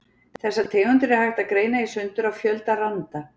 Þessar tegundir er hægt að greina í sundur á fjölda randa.